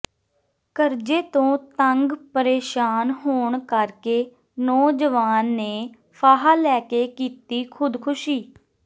ਕਰਜ਼ੇ ਤੋਂ ਤੰਗ ਪ੍ਰੇਸ਼ਾਨ ਹੋਣ ਕਰਕੇ ਨੌਜਵਾਨ ਨੇ ਫਾਹਾ ਲੈਕੇ ਕੀਤੀ ਖ਼ੁਦਕੁਸ਼ੀ